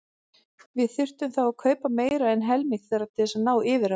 Við þyrftum þá að kaupa meira en helming þeirra til að ná yfirráðum.